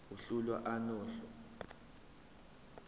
uhlu a nohlu